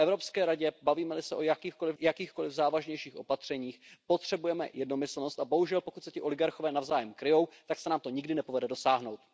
V Evropské radě, bavíme li se o jakýchkoli závažnějších opatřeních, potřebujeme jednomyslnost, a bohužel pokud se ti oligarchové navzájem kryjí, tak se nám to nikdy nepovede dosáhnout.